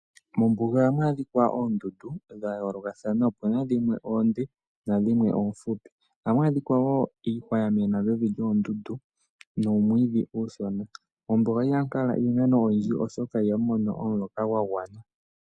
Mombuga ohamu adhikwa oondundu oonde noomfupi. Oha mu adhikwa wo iihwa ya mena mevi lyoondundu nuumwiihmdhi uushona. Mombuga iha mu kala iimeno oyindji, oshoka iha mu mono omuloka gwa gwana.